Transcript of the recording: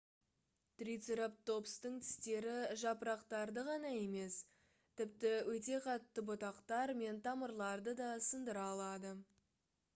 трицератопстың тістері жапырақтарды ғана емес тіпті өте қатты бұтақтар мен тамырларды да сындыра алатын